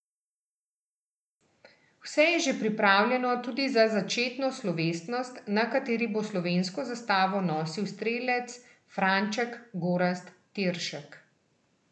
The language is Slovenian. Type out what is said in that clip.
Vse je že pripravljeno tudi za začetno slovesnost, na kateri bo slovensko zastavo nosil strelec Franček Gorazd Tiršek.